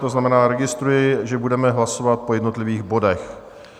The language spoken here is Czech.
To znamená, registruji, že budeme hlasovat po jednotlivých bodech.